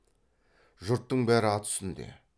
жұрттың бәрі ат үстінде